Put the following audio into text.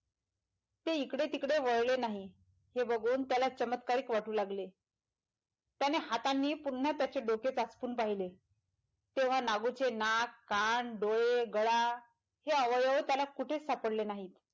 ते हिकडे तिकडे वळले नाही हे बघून त्याला चमत्कारिक वाटू लागले त्याने हातांनीच पुनः त्याचे डोके तपासून पहिले तेव्हा नागूचे नाक कान डोळे गळा हे आवळ्यावर त्याला कुठेच सापडले नाहीत.